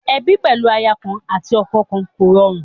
Ebi pẹlu aya kan ati ọkọ kọn rọrùn.